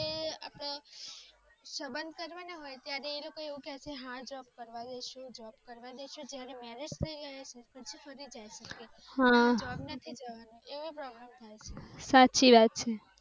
સબંધ કરવાની હોય ત્યારે લોકો એવું કહે છે. હા, જોબ કરવા દેશો કરવા જશે ને marriage થાય ને એ પછી ફરી જાય છે અને job નથી કરવા દેતા એવી પ્રોબ્લેમ થાય છે